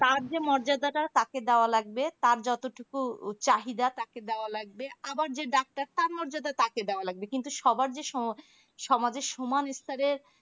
তার যে মর্যাদাটা তাকে দেওয়া লাগবে তার যতটুকু চাহিদা তাকে দেওয়া লাগবে আবার যে ডাক্তার তার মর্যাদা তাকে দেওয়া লাগবে কিন্তু সবার যে সমাজে সমান স্তরে